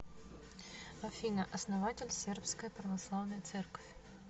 афина основатель сербская православная церковь